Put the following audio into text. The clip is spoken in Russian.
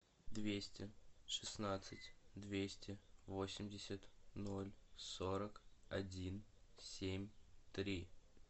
двести шестнадцать двести восемьдесят ноль сорок один семь три